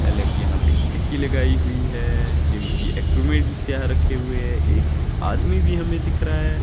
अलग यहां पे खिड़की लगाई हुई है जिम की इक्विपमेंट्स यहां रखे हुए हैं एक आदमी भी हमें दिख रहा है।